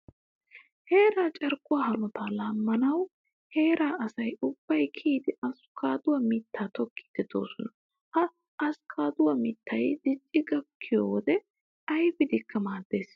Heeraa carkkuwaa hanotaa laammanawu heeraa asayi ubbayi kiyidi askkaaduwaa mittaa tokkiiddi doosona. Ha askkaaduwaa mittayi dicci gakkiyoo wode ayipidikka maaddes.